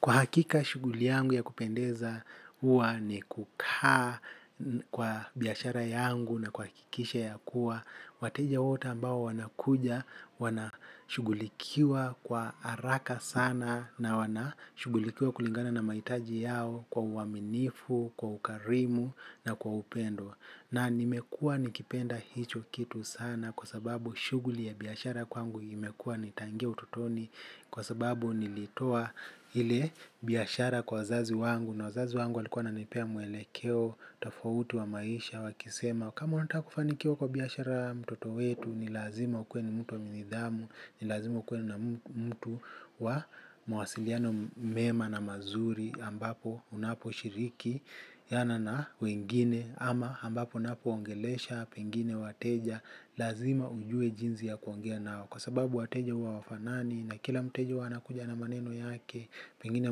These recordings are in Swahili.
Kwa hakika shughuli yangu ya kupendeza huwa ni kukaa kwa biashara yangu na kuhakikisha ya kuwa wateja wote ambao wanakuja, wana shughulikiwa kwa haraka sana. Na wana shughulikiwa kulingana na mahitaji yao kwa uaminifu, kwa ukarimu na kwa upendo. Na nimekua nikipenda hicho kitu sana kwa sababu shughuli ya biashara kwangu imekua nitaingia utotoni kwa sababu nilitoa ile biashara kwa wazazi wangu na wazazi wangu walikuwa wananipea mwelekeo tofauti wa maisha wakisema kama unataka kufanikiwa kwa biashara mtoto wetu ni lazima ukuwe ni mtu wa nidhamu ni lazima ukuwe na mtu wa mawasiliano mema na mazuri ambapo unapo shiriki jana na wengine ama ambapo ninapo ongeleshe pengine wateja lazima nijue jinsi ya kuongea nao mwa sababu wateja huwa hawafanani na kila mteja hukuja na maneno yake pengine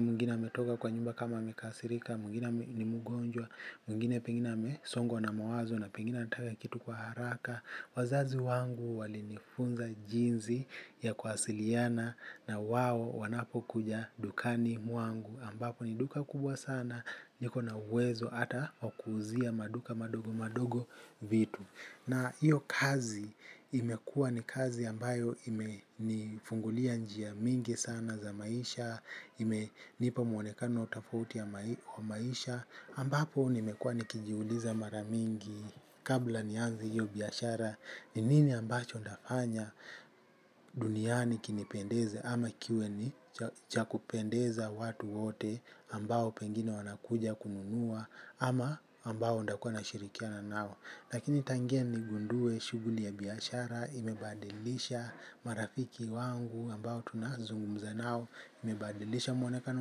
mwingine ametoka kwa nyumba kama amekasirika mwingine ni mgonjwa mwingine niko na uwezo hata wa kuuzia maduka madogo madogo vitu. Na hiyo kazi imekua ni kazi ambayo ime nifungulia njia mingi sana za maisha, ime nipa mwonekano tofauti ya maisha, ambapo nimekua nikijiuliza mara mingi kabla nianze hiyo biashara ni nini ambacho nitafanya duniani ikinipendeze ama kiwe ni cha kupendeza watu wote ambao pengine wanakuja kununua ama ambao ntakua nashirikiana nao. Lakini tangia ni gundue shuguli ya biyashara, imebadilisha marafiki wangu ambao tunazungu mzenao, imebadilisha mwonekana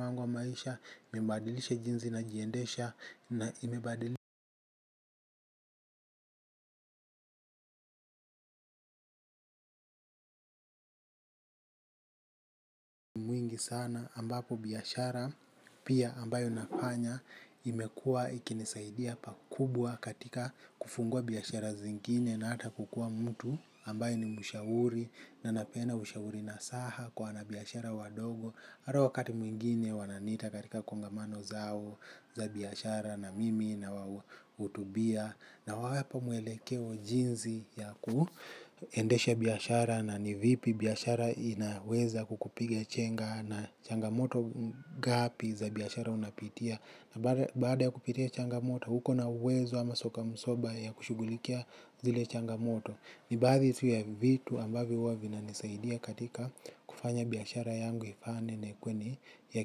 wangu wa maisha, imebadilisha jinzi na jiendesha na imebadilisha mingi sana ambapo biashara pia ambayo nafanya imekua ikinisaidia pakubwa katika kufungua biashara zingine na hata kukuwa mtu ambaye ni mshauri na anapeana ushauri nasaha kwa wanabiashara wadogo. Hata wakati mwingine wananiita katika kongamano zao za biashara na mimi na hutubia. Nawapa mwelekeo jinsi ya kuendesha biashara na ni vipi biashara inaweza kukupiga chenga na changamoto ngapi za biashara unapitia. Na baada ya kupitia changamoto uko na uwezo ama soka msoba ya kushughulikia zile changamoto. Ni baadhi tu ya vitu ambavyo huwa vinanisaidia katika kufanya biashara yangu ifane na ikuwe ni ya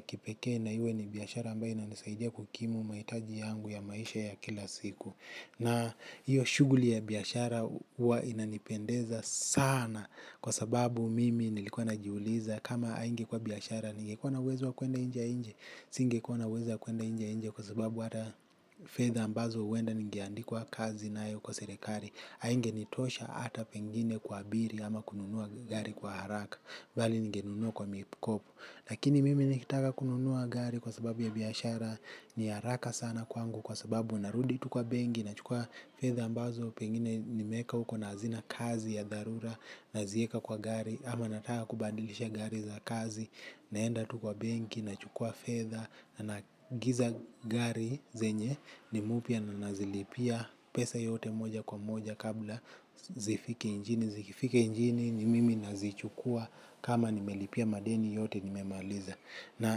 kipekee na iwe ni biashara ambayo inanisaidia kukimu mahitaji yangu ya maisha ya kila siku. Na hiyo shughuli ya biashara huwa inanipendeza sana kwa sababu mimi nilikuwa najiuliza kama haingekuwa biashara. Ningekua na uwezo wa kuenda inje lakini mimi nikitaka kununua gari kwa sababu ya biashara ni haraka sana kwangu kwa sababu narudi tu kwa benki nachukua fedha ambazo pengine nimeweka huko na hazina kazi ya dharura nazieka kwa gari ama nataka kubadilisha gari za kazi naenda tu kwa benki nachukua fedha naagiza gari zenye ni mpya nazilipia pesa yote moja kwa moja kabla zifike nchini, zikifika nchini ni mimi nazichukua kama nimelipia madeni yote nimemaliza. Na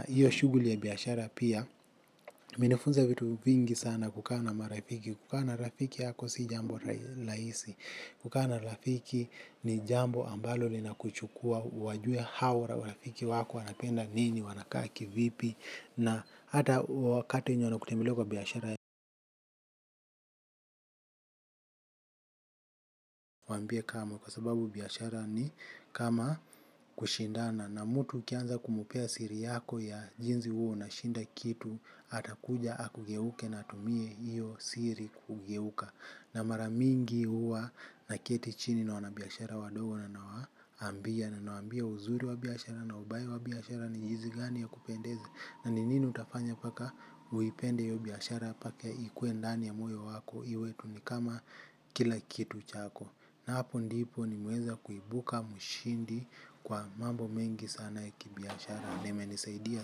hiyo shughuli ya biashara pia, minifunza vitu vingi sana kukana marafiki, kukana rafiki yako si jambo laisi, kukana rafiki ni jambo ambalo lina kuchukua, wajue hawa rafiki wako wanapenda nini, wanakaki, vipi, na hata wakati nyo nakutemilo kwa biyashara ya wambie kama kwa sababu biashara ni kama kushindana. Na mtu ukianza kumpea siri yako ya jinsi huwa unashinda kitu. Atakuja akugeuke na atumie hiyo siri kugeuka. Na mara mingi huwa na kiti chini na wanabiashara wadogo na naambia na naambia uzuri wabiashara na ubaye wabiashara ni hizi gani ya kupendezi. Na ni nini utafanya paka uipende hiyo biashara paka ikue ndani ya moyo wako iwe tu ni kama kila kitu chako. Na hapo ndipo nimeweza kuibuka mshindi kwa mambo mengi sana ya kibiashara. Na ime nisaidia.